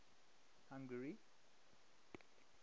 hungary